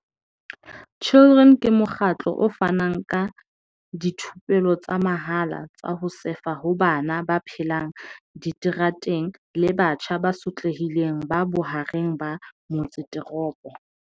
Children ke mokgatlo o fanang ka dithupelo tsa mahala tsa ho sefa ho bana ba phelang diterateng le batjha ba sotlehileng ba bohareng ba motseteropo.